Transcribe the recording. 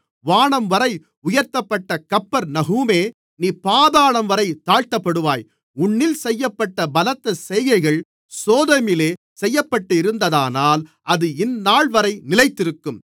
வானம்வரை உயர்த்தப்பட்ட கப்பர்நகூமே நீ பாதாளம்வரை தாழ்த்தப்படுவாய் உன்னில் செய்யப்பட்ட பலத்த செய்கைகள் சோதோமிலே செய்யப்பட்டிருந்ததானால் அது இந்தநாள்வரை நிலைத்திருக்கும்